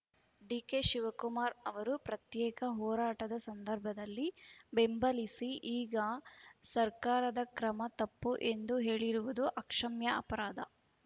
ಡಿಕೆಶಿವಕುಮಾರ್‌ ಅವರು ಪ್ರತ್ಯೇಕ ಹೋರಾಟದ ಸಂದರ್ಭದಲ್ಲಿ ಬೆಂಬಲಿಸಿ ಈಗ ಸರ್ಕಾರದ ಕ್ರಮ ತಪ್ಪು ಎಂದು ಹೇಳಿರುವುದು ಅಕ್ಷಮ್ಯ ಅಪರಾಧ